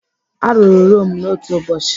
Arụrụ Rome n'otu ụbọchị?